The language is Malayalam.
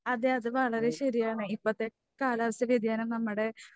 അതെ അത് വളരെ ശരിയാണ് ഇപ്പത്തെ കാലാവസ്ഥാവ്യതിയാനം നമ്മടെ